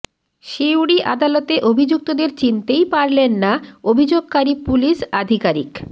সিউড়ি আদালতে অভিযুক্তদের চিনতেই পারলেন না অভিযোগকারী পুলিস আধিকারিক